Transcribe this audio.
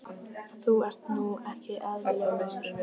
Þú ert nú ekki eðlilegur, maður!